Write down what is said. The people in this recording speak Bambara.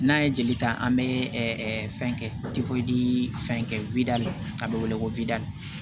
N'an ye jeli ta an be ɛ fɛn kɛ fɛn kɛ widali a be wele ko wide